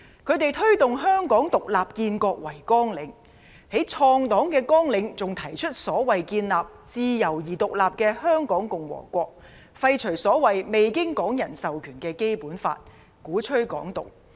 他們以推動香港"獨立建國"為綱領，在創黨綱領還提出所謂的建立自由而獨立的香港共和國、廢除所謂未經港人授權的《基本法》，鼓吹"港獨"。